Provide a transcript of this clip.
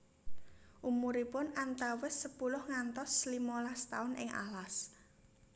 Umuripun antawis sepuluh ngantos limolas taun ing alas